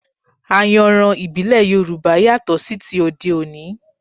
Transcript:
Ayanran ìbílẹ̀ Yorùbá yàtọ̀ sí ti òde òní